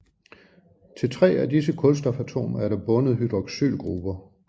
Til tre af disse kulstofatomer er der bundet hydroxylgrupper